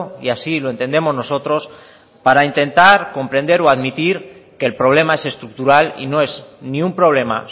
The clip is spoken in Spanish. y así lo entendemos nosotros para intentar comprender o admitir que el problema es estructural y no es ni un problema